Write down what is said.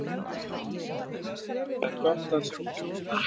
Það er gott að sjá þig!